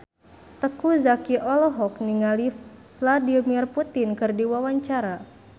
Teuku Zacky olohok ningali Vladimir Putin keur diwawancara